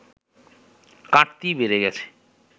কাটতিই বেড়ে গেছে